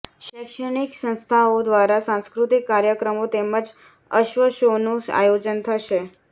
શૈક્ષણિક સંસ્થાઓ દ્વારા સાંસ્કૃતિક કાર્યક્રમો તેમજ અશ્વ શોનું આયોજન થશે